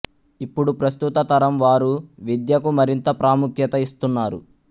ఇప్పుడు ప్రస్తుత తరం వారు విద్యకు మరింత ప్రాముఖ్యత ఇస్తున్నారు